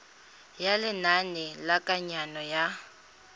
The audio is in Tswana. ya lenane la kananyo ya